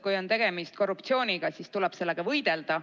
Kui on tegemist korruptsiooniga, siis tuleb sellega võidelda.